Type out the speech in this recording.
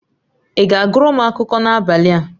Ị ga-agụrụ m akụkọ n'abalị a?